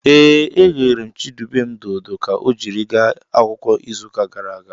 Ee, eghere m Chidubem dodo ka ọ jiri gaa akwụkwọ n'izuụka gara aga.